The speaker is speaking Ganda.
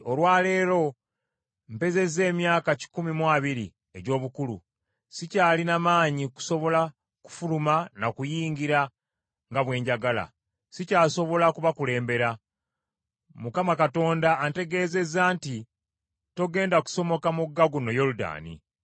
“Olwa leero mpezezza emyaka kikumi mu abiri egy’obukulu; sikyalina maanyi kusobola kufuluma na kuyingira nga bwe njagala. Sikyasobola kubakulembera. Mukama Katonda antegeezezza nti, ‘Togenda kusomoka mugga guno Yoludaani.’